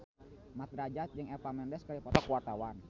Mat Drajat jeung Eva Mendes keur dipoto ku wartawan